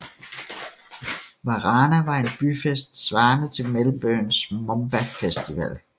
Warana var en byfest svarende til Melbournes Moomba festival